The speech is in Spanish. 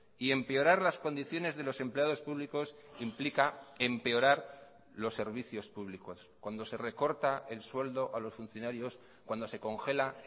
y empeorar las condiciones de los empleados públicos implica empeorar los servicios públicos cuando se recorta el sueldo a los funcionarios cuando se congela